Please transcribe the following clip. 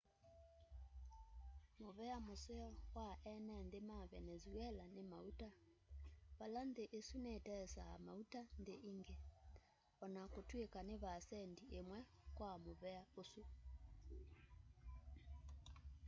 muvea museo wa ene nthi ma venezuela ni mauta vala nthi isu nitesaa mauta nthi ingi o na kutwika ni vaasendi imwe kwa muvea usu